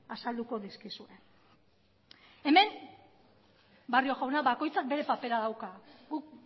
azalduko dizkizue hemen barrio jauna bakoitzak bere papera dauka guk